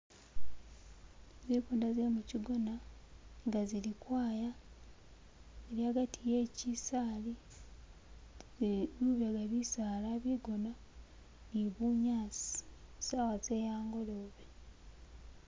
Zipunda ze muchigona inga zilikwaya hagati he chisali ne bilala bisaala, bigona ni bunyaasi sawa ze hangolobe